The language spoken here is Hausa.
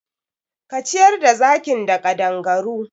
Ka ciyar da zakin da ƙadangaru!